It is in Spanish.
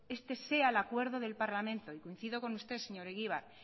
este sea el acuerdo del parlamento y coincido con usted señor egibar